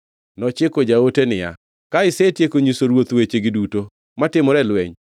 Nochiko jaote niya, “Ka isetieko nyiso ruoth wechegi duto matimore e lweny,